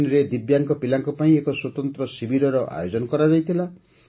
ବାହାରିନରେ ଦିବ୍ୟାଙ୍ଗ ପିଲାଙ୍କ ପାଇଁ ଏକ ସ୍ୱତନ୍ତ୍ର ଶିବିରର ଆୟୋଜନ କରାଯାଇଥିଲା